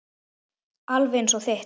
Alveg eins og þitt.